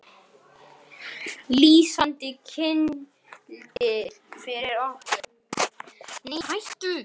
Lýsandi kyndill fyrir okkur öll.